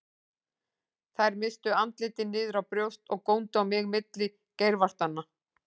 Þær misstu andlitin niður á brjóst og góndu á mig milli geirvartanna.